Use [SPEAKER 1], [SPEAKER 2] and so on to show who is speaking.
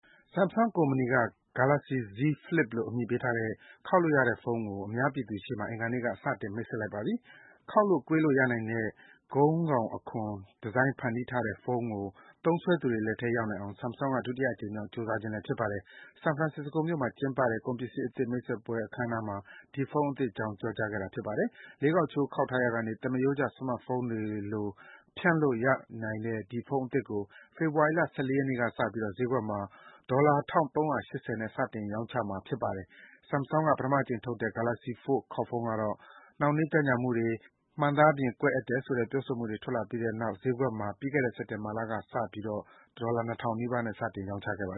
[SPEAKER 1] Samsung ကုမ္ပဏီက Galaxy Z Flip လို့ အမည်ပေးထားတဲ့ ခေါက်လို့ရတဲ့ဖုန်းကို အင်္ဂါနေ့မှာ စတင် မိတ်ဆက်လိုက်ပါပြီ။ ခေါက်လို့၊ ကွေးလို့ရနိုင်တဲ့ ခုံးကောင်အခွံ ဒီဇိုင်းဖန်တီးထားတဲ့ဖုန်းကို သုံးစွဲသူတွေလက်ထဲ ရောက်နိုင်အောင် Samsung က ဒုတိယအကြိမ်မြောက် ကြိုးစားခြင်းလည်း ဖြစ်ပါတယ်။ San Francisco မြို့မှာ ကျင်းပတဲ့ ကုန်ပစ္စည်းအသစ် မိတ်ဆက်ပွဲအခမ်းအနားမှာ ဒီဖုန်းအသစ်အကြောင်း ပြောကြားခဲ့တာပါ။ လေးခေါက်ချိုး ခေါက်ထားရာကနေ သမားရိုးကျ Smart Phone တွေကို ပြန်ဖြန့်လိုက်လို့ရနိုင်တဲ့ ဒီ ဖုန်းအသစ်ကို ဖေဖော်ဝါရီလ ၁၄ ရက်နေ့ကစပြီး ဈေးကွက်မှာ $ ၁,၃၈၀ နဲ့ စတင်ရောင်းချမှာဖြစ်ပါတယ်။ Samsung က ပထမအကြိမ် ထုတ်လုပ်တဲ့ Galaxy Fold ခေါက်ဖုန်းကတော့ နှောင့်နှေး ကြန့်ကြာမှုတွေ၊ ဖုန်းမှန်သားပြင် ကွဲတယ်ဆိုတဲ့ ပြောဆိုမှုတွေ ထွက်လာပြီးတဲ့နောက် ဈေးကွက်မှာ ပြီးခဲ့တဲ့ စက်တင်ဘာလကစပြီး ရောင်းချခဲ့ပါတယ်။ ထောင်လိုက်ဘဲ ခေါက်လို့ရတဲ့ Galaxy Fold ဖုန်းကိုတော့ $ ၂,၀၀၀ နီးပါးနဲ့ စတင်ရောင်းချခဲ့တာပါ